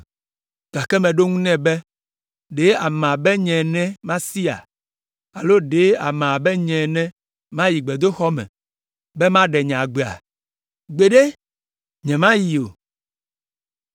Gake meɖo eŋu nɛ be, “Ɖe ame abe nye ene masia? Alo ɖe ame abe nye ene mayi gbedoxɔ me be maɖe nye agbea? Gbeɖe, nyemayi o!”